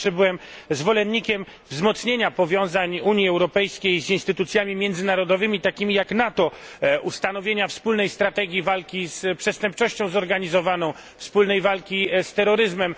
Zawsze byłem zwolennikiem wzmocnienia powiązań Unii Europejskiej z instytucjami międzynarodowymi, takimi jak NATO, ustanowienia wspólnej strategii walki z przestępczością zorganizowaną, wspólnej walki z terroryzmem.